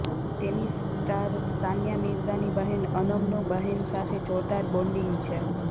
tennis star Sania મિર્ઝાની બહેન અનમનું બહેન સાથે જોરદાર બોન્ડિંગ છે